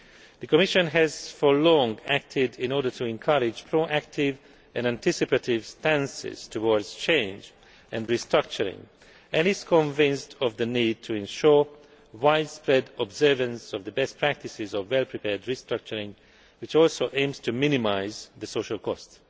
The Commission has for a long time been acting to encourage proactive and anticipative stances towards change and restructuring, and is convinced of the need to ensure widespread observance of the best practices of well prepared restructuring, which also aims to minimise the social costs.